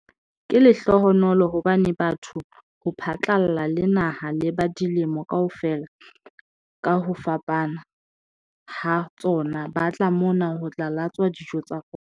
"Ke lehlohonolo hobane batho ho phatlalla le naha le ba dilemo kaofela ka ho fapana ha tsona ba tla mona ho tla latswa dijo tsa rona."